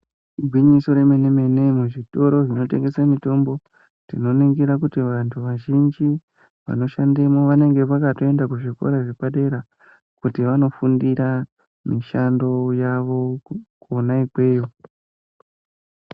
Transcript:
Igwinyiso remene mene muzvitoro zvinotengese mitombo tinoningira kuti vanhu vazhinji vanoshandemwo vanenge vakatoenda kuzvikora zvepadera kuti vanofundira mishando yavo kwona ikweyo.